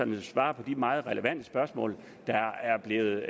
vil svare på de meget relevante spørgsmål der er blevet